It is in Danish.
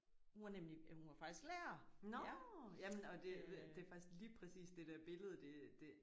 Hun var nemlig hun var faktisk lærer ja. Jamen og det det er faktisk lige præcis det der billede det det